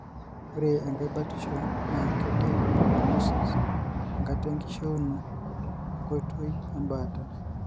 ore enkae batisho na kediak prognosis(enkata enkishiuno) we ngotoi embaata.